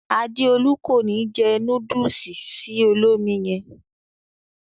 Adéolú ko ni jẹ núdùùsì sì olómi yẹn.